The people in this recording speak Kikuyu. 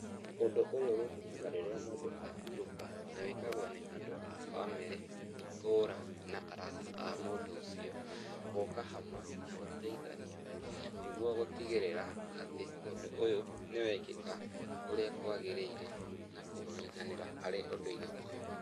Ũndũ ũyũ wĩkĩkaga rĩrĩa mũndũ ahurũka, na wĩkagwo nĩ andũ a bamĩrĩ, itũra na arata a mũndũ ũcio, gũũka hamwe na gũteithania, nĩguo gũtigĩrĩra atĩ ũndũ ũyũ nĩ wekĩka ũrĩa kwagĩrĩire na kũnyitanĩra harĩ ũndũ-inĩ ũyũ.